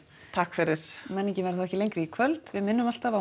takk fyrir menningin verður þá ekki lengri í kvöld við minnum alltaf á